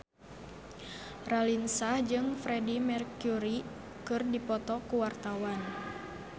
Raline Shah jeung Freedie Mercury keur dipoto ku wartawan